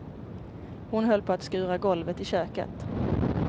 Hon höll på att skura golvet i köket.